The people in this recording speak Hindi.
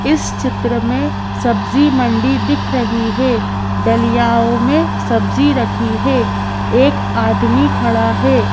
इस चित्र में सब्जी मंडी दिख रही है डलियाओं में सब्जी रखी है एक आदमी खड़ा है।